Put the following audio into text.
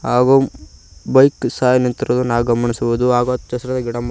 ಹಾಗು ಬೈಕ್ ಸಹ ನಿಂತಿರುದು ನಾವ ಗಮನಿಸಬಹುದು ಹಾಗು ಅಚ್ಛ ಹಸಿರ ಗಿಡ ಮ--